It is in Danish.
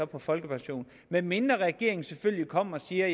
på folkepension medmindre regeringen selvfølgelig kommer og siger